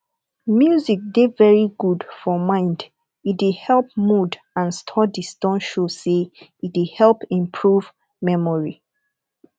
music dey very good for mind e dey help mood and studies don show sey e dey help imporve memory